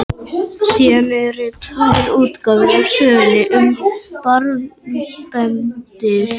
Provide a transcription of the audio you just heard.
Síðan eru tvær útgáfur af sögunni um marbendil.